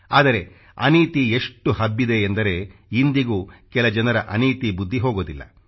ಆದರೆ ಅನೀತಿ ಎಷ್ಟು ಹಬ್ಬಿದೆ ಎಂದರೆ ಇಂದಿಗೂ ಕೆಲ ಜನರ ಅನೀತಿ ಬುದ್ಧಿ ಹೋಗೋದಿಲ್ಲ